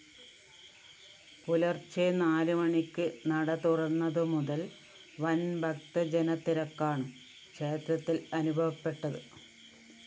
പുലര്‍ച്ചെ നാല് മണിക്ക് നടതുറന്നതുമുതല്‍ വന്‍ ഭക്തജനതിരക്കാണ് ക്ഷേത്രത്തില്‍ അനുഭവപ്പെട്ടത്